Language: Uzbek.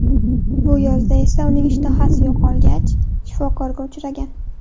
Bu yozda esa uning ishtahasi yo‘qolgach, shifokorga uchragan.